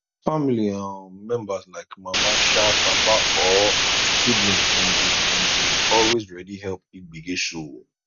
family um members like mama um papa or sibling dem dey dem dey always ready help if gbege show